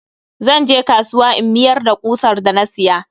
Zan je kasuwa in miyar da ƙusar da na siya.